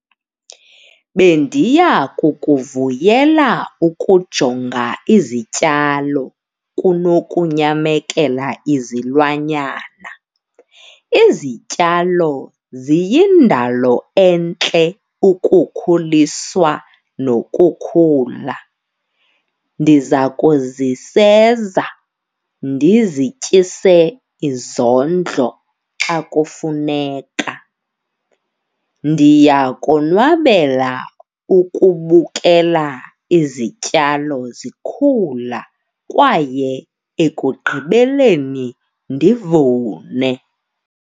Bendiya kukuvuyela ukujonga izityalo kunokunyamekela izilwanyana. Izityalo ziyindalo entle ukukhuliswa nokukhula. Ndiza kuziseza, ndizityise izondlo xa kufuneka. Ndiyakonwabela ukubukela izityalo zikhula kwaye ekugqibeleni ndivune.